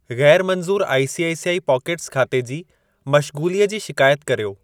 गैर मंज़ूर I C I C I pockets खाते जी मशगूलीअ जी शिकायत कर्यो।